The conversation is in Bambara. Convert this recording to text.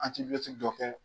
dɔ kɛ